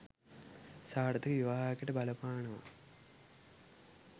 සාර්ථක විවාහයකට බලපානවා.